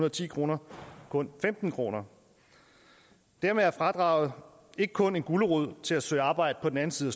og ti kroner kun femten kroner dermed er fradraget ikke kun en gulerod til at søge arbejde på den anden side